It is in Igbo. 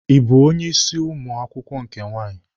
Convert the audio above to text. Ị bụ onye ịsị ụmụ akwụkwọ nke nwaanyị?